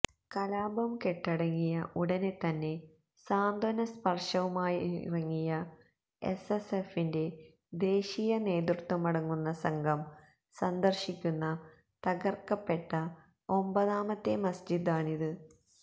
കലാപം കെട്ടടങ്ങിയ ഉടനെ തന്നെ സാന്ത്വനസ്പർശവുമായിറങ്ങിയ എസ് എസ് എഫിന്റെ ദേശീയ നേതൃത്വമടങ്ങുന്ന സംഘം സന്ദർശിക്കുന്ന തകർക്കപ്പെട്ട ഒമ്പതാമത്തെ മസ്ജിദാണിത്